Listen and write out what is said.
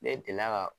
Ne delila ka